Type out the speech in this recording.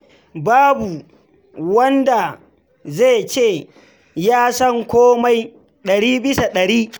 Babu wanda zai ce shi ya san komai ɗari bisa ɗari.